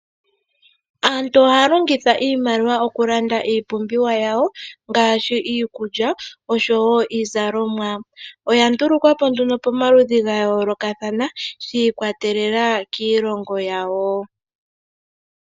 Aantu ohaa longitha iimaliwa okulanda iipumbiwa yawo ngaashi iikulya oshowo iizalomwa. Oya ndulukwapo pamaludhi ga yoolokathana shiikwatelela kiilongo yawo.